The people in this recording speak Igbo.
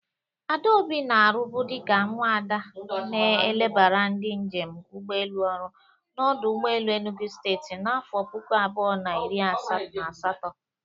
Adaobi na-arubụ dịka nwada na-elebara ndị njem ụgbọelu ọrụ n'ọdụ ụgbọelu Enugu steti n'afọ puku abụọ na iri na asatọ